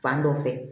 Fan dɔ fɛ